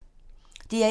DR1